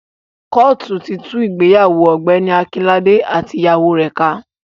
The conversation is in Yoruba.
Kóòtù ti tú ìgbéyàwó Ọ̀gbẹ́ni Akínlàdé àti ìyàwó rẹ̀ ká.